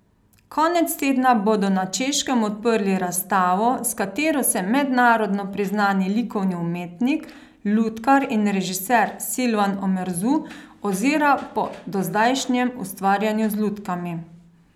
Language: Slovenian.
Konec tedna bodo na Češkem odprli razstavo, s katero se mednarodno priznani likovni umetnik, lutkar in režiser Silvan Omerzu ozira po dozdajšnjem ustvarjanju z lutkami.